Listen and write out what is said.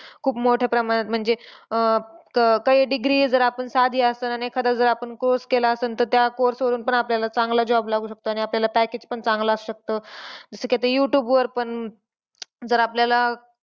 खूप मोठ्या प्रमाणात म्हणजे का काही अं degree जर आपली साधी असेल आणि एखादा आपण course केलंअसेल तर त्या course वर आपल्याला चांगला job लागू शकतो. आणि आपल्याला package पण चांगला असू शकतो. जसं की आता युट्युब वर पण जर आपल्याला.